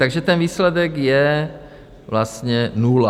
Takže ten výsledek je vlastně nula.